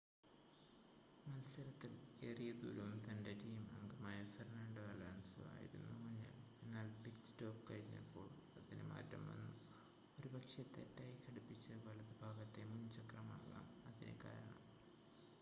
മത്സരത്തിൽ ഏറിയ ദൂരവും തൻ്റെ ടീം അംഗമായ ഫെർണാണ്ടോ ആലോൻസോ ആയിരുന്നു മുന്നിൽ എന്നാൽ പിറ്റ് സ്റ്റോപ് കഴിഞ്ഞപ്പോൾ അതിന് മാറ്റംവന്നു ഒരുപക്ഷേ തെറ്റായി ഘടിപ്പിച്ച വലത് ഭാഗത്തെ മുൻചക്രം ആകാം അതിന് കാരണം